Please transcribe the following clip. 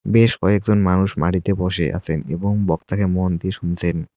বেশ কয়েকজন মানুষ মাটিতে বসে আছেন এবং বক্তাকে মন দিয়ে শুনছেন।